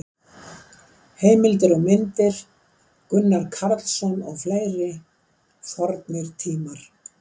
Heimildir og myndir: Gunnar Karlsson og fleiri: Fornir tímar.